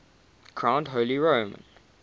crowned holy roman